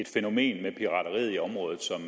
fænomen i området som